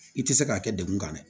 I tɛ se k'a kɛ dekun kan dɛ